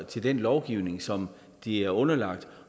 til den lovgivning som de er underlagt